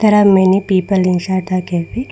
there are many people inside the cafe.